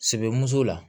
Sebe muso la